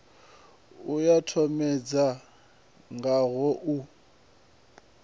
ya tshomedzo yo tanganelaho u